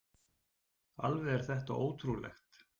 Alveg er þetta ótrúlegt!